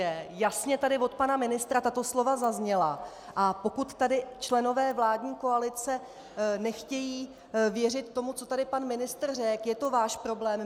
Jasně tady od pana ministra tato slova zazněla, a pokud tady členové vládní koalice nechtějí věřit tomu, co tady pan ministr řekl, je to váš problém.